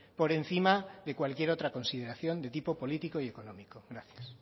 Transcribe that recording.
por encima de cualquier otra consideración de tipo político y económico gracias